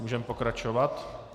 Můžeme pokračovat.